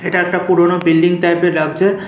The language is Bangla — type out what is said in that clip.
এটা একটা পুরোনো বিল্ডিং টাইপের লাগছে ।